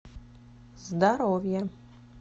здоровье